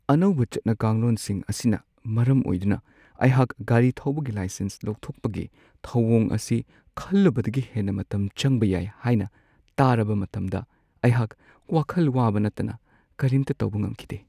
ꯑꯅꯧꯕ ꯆꯠꯅ-ꯀꯥꯡꯂꯣꯟꯁꯤꯡ ꯑꯁꯤꯅ ꯃꯔꯝ ꯑꯣꯏꯗꯨꯅ ꯑꯩꯍꯥꯛ ꯒꯥꯔꯤ ꯊꯧꯕꯒꯤ ꯂꯥꯏꯁꯦꯟꯁ ꯂꯧꯊꯣꯛꯄꯒꯤ ꯊꯧꯋꯣꯡ ꯑꯁꯤ ꯈꯜꯂꯨꯕꯗꯒꯤ ꯍꯦꯟꯅ ꯃꯇꯝ ꯆꯪꯕ ꯌꯥꯏ ꯍꯥꯏꯅ ꯇꯥꯔꯕ ꯃꯇꯝꯗ ꯑꯩꯍꯥꯛ ꯋꯥꯈꯜ ꯋꯥꯕ ꯅꯠꯇꯅ ꯀꯔꯤꯝꯇ ꯇꯧꯕ ꯉꯝꯈꯤꯗꯦ ꯫